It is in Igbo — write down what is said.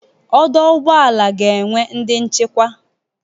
Ọdọ ụgbọala ga-enwe onye nchikwa.